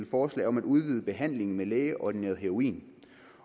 forslag om at udvide behandlingen med lægeordineret heroin